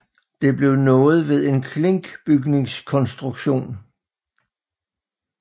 Det blev nået ved en klinkbygningskonstruktion